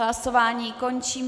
Hlasování končím.